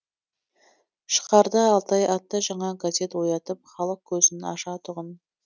шығарды алтай атты жаңа газет оятып халық көзін ашатұғын